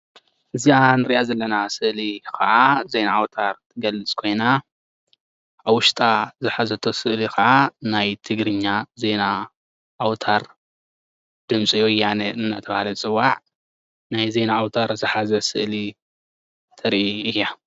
እዚኣ እንሪኣ ዘለና ስእሊ ከዓ ዜና ኣውታር እትገልፅ ኮይና ኣብ ውሽጣ ዝሓዘቶ ስእሊ ከዓ ናይ ትግርኛ ዜና ኣውታር ድምፂ ወያነ እንዳተባሃለ ዝፅዋዕ ናይ ዜና ኣውታር ዝሓዘ ስእሊ ተሪኢ እያ፡፡